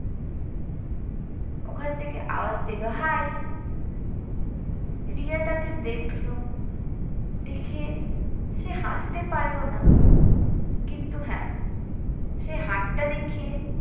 ওখান থেকে আওয়াজ দিলো hi । রিয়া তাকে দেখলো দেখে সে হাসতে পারল না কিন্তু হ্যাঁ সে হাতটা দেখিয়ে